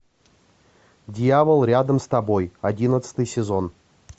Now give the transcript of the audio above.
дьявол рядом с тобой одиннадцатый сезон